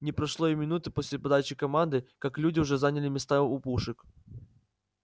не прошло и минуты после подачи команды как люди уже заняли места у пушек